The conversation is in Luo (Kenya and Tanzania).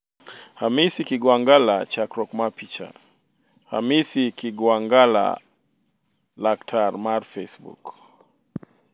Hamisi kigwangalla chakruok mar picha, Hamisi Kigwangala/Laktar mar facebook